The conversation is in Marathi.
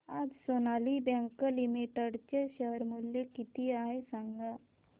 आज सोनाली बँक लिमिटेड चे शेअर मूल्य किती आहे सांगा